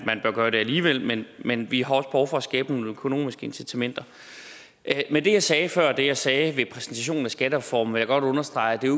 man bør gøre det alligevel men men vi har også behov for at skabe nogle økonomiske incitamenter men det jeg sagde før og det jeg sagde ved præsentationen af skattereformen vil jeg godt understrege det er